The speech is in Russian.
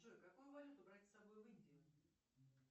джой какую валюту брать с собой в индию